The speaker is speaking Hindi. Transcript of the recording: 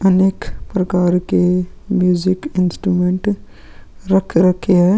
अनेक प्रकार के म्यूजिक इंस्ट्रूमेंट रख रखे हैं.